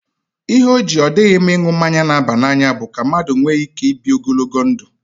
Ihe o ji ọ dịghị mma ịṅụ mmanya na-aba n'anya bụ ka mmadụ nwee ike ibi ogologo ndụ.